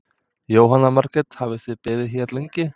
Jóhanna Margrét: Hafið þið beðið hér lengi?